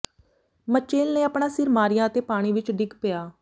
Mitchell ਨੇ ਆਪਣਾ ਸਿਰ ਮਾਰਿਆ ਅਤੇ ਪਾਣੀ ਵਿਚ ਡਿੱਗ ਪਿਆ